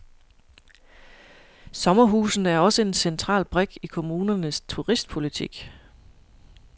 Sommerhusene er også en central brik i kommunernes turistpolitik.